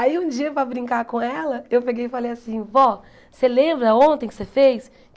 Aí um dia, para brincar com ela, eu peguei e falei assim, vó, você lembra ontem que você fez?